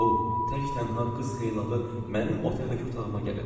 O tək-tənha qız xeylağı mənim oteldəki otağıma gəlib.